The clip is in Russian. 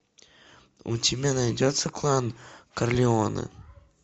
у тебя найдется клан карлеоне